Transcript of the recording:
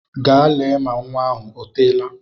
Gaa lee ma nnwa m o teela!